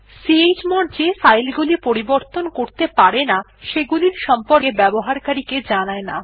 f160 chmod যে file গুলি পরিবর্তন করতে পারে না সেগুলির সম্পকে ব্যবহারকারী কে জানায় না